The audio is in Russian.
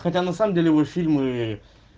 хотя на самом деле его фильмы